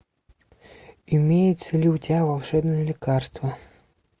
имеется ли у тебя волшебное лекарство